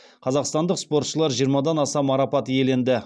қазақстандық спортшылар жиырмадан аса марапат иеленді